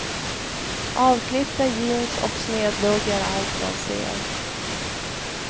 Avklippta jeans och snedlugg är allt man ser.